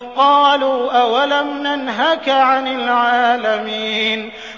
قَالُوا أَوَلَمْ نَنْهَكَ عَنِ الْعَالَمِينَ